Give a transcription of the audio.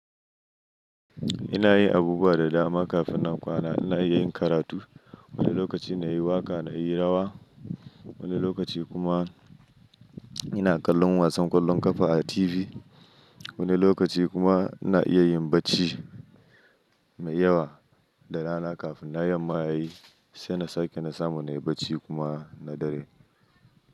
Ina yin abubuwa da dama kafin na kwana. Ina iya yin karatu, wani lokaci na yi waƙa, na yi rawa, wani lokaci kuma ina kallon wasan ƙwallon ƙafa a TV, wani lokaci kuma ina iya yin bacci mai yawa da rana kafin nayi yamma yayi, sai na sake na samu na yi bacci kuma na dare.